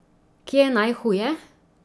Kje je najhuje?